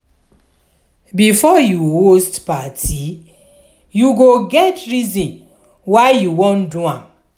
before you host parti you go get the reason why you won do am